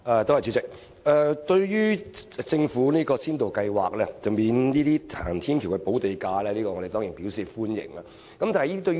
代理主席，對於政府這項先導計劃，即豁免興建行人天橋的申請人支付土地補價，我們當然表示歡迎。